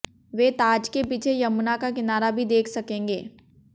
वे ताज के पीछे यमुना का किनारा भी देख सकेंगे